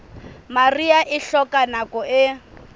mariha e hloka nako e